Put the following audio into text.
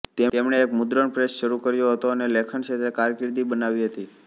તેમણે એક મુદ્રણ પ્રેસ શરૂ કર્યો હતો અને લેખન ક્ષેત્રે કારકિર્દી બનાવી હતી